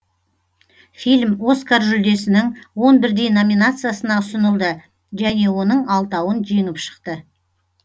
фильм оскар жүлдесінің он бірдей номинациясына ұсынылды және оның алтауын жеңіп шықты